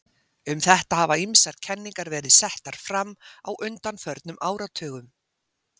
Um þetta hafa ýmsar kenningar verið settar fram á undanförnum áratugum.